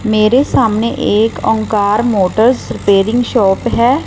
मेरे सामने एक ओंकार मोटर रिपेयरिंग शॉप है।